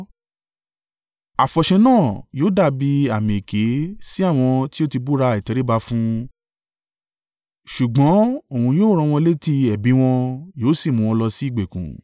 Àfọ̀ṣẹ náà yóò dàbí àmì èké sí àwọn tí ó ti búra ìtẹríba fún un, ṣùgbọ́n òun yóò ran wọn létí ẹbí wọn yóò sì mú wọn lọ sí ìgbèkùn.